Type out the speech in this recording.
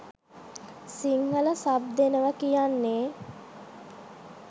Sinhala sub දෙනවා කියන්නෙ